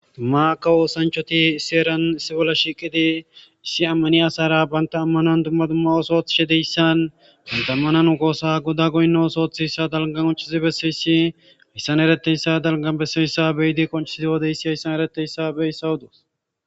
Mata osanichati issi heeran shiqqidi issi amaniya asara banta amanuwa oso othishe disanne duma nu goda goyino osuwa otishe beesiya issi beesan qoncissi beessishe dee.